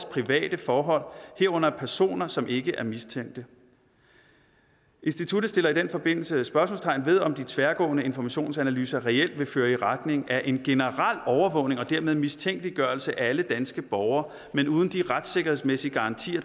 private forhold herunder af personer som ikke er mistænkt instituttet sætter i den forbindelse spørgsmålstegn ved om de tværgående informationsanalyser reelt vil føre i retning af en generel overvågning og dermed mistænkeliggørelse af alle danske borgere men uden de retssikkerhedsmæssige garantier